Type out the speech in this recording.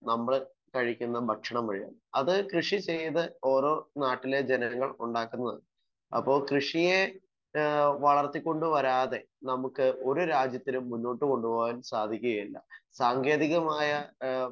Speaker 1 നമ്മൾ കഴിക്കുന്ന ഭക്ഷണം വഴിയാണ്. അത് കൃഷി ചെയ്ത് ഓരോ നാട്ടിലേം ജനങ്ങൾ ഉണ്ടാക്കുന്നത്. അപ്പൊ കൃഷിയെ ആഹ് വളർത്തി കൊണ്ട് വരാതെ നമുക്ക് ഒരു രാജ്യത്തിനും മുന്നോട്ട് കൊണ്ട് പോവാൻ സാധിക്കുകയില്ല. സാങ്കേതികമായ ഏഹ്